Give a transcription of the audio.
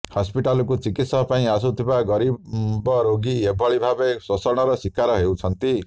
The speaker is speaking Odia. ହସ୍ପିଟାଲକୁ ଚିକିତ୍ସା ପାଇଁ ଆସୁଥିବା ଗରିବ ରୋଗୀ ଏହିଭଳି ଭାବେ ଶୋଷଣର ଶିକାର ହେଉଛନ୍ତି